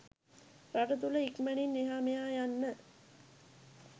රට තුළ ඉක්මනින් එහා මෙයා යන්න